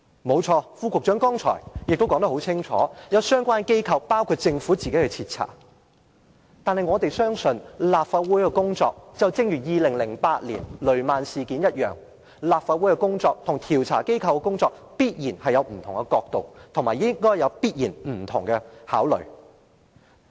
沒錯，副局長剛才已說得很清楚，有相關機構，包括政府自己正在徹查事件。但我們相信，如同調查2008年的雷曼事件一般，立法會的工作和調查機構的工作必然會有不同角度，也必然會有不同考慮。